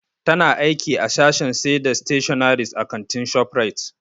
Ta na aiki a sashen sai da stationaries a kantin Shoprite.